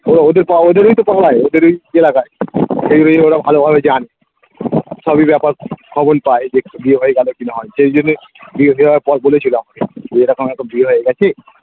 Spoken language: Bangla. ওদের পাড়ায় ওদেরই তো পাড়ায় ওদেরই এলাকায় সেই অনুযায়ী ওরা ভালোভাবে জানে সবই ব্যাপার খবর পায় যেটা বিয়ে হয়ে গেলো কি না সেই জন্যে বিয়ে হয়ে যাওয়ার পর বলেছিলো আমাকে যে এরকম একটা বিয়ে হয়ে গেছে